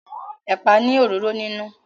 Ẹ̀pà ni òróró nínú.